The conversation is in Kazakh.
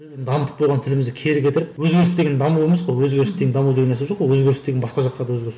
біздің дамытып болған тілімізді кері кетіріп өзгеріс деген даму емес қой өзгеріс деген даму деген нәрсе жоқ қой өзгеріс деген басқа жаққа да өзгеріс